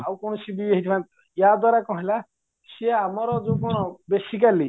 ଆଉ କ'ଣ ହେଇଚି ଯାଦ୍ଵାରା କ'ଣ ହେଲା ସିଏ ଆମର ଯୋଉ କ'ଣ ବେଶୀକାଲି